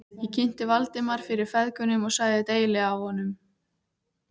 Ég kynnti Valdimar fyrir feðgunum og sagði deili á honum.